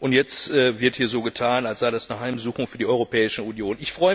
Und jetzt wird hier so getan, als sei das eine Heimsuchung für die Europäische Union.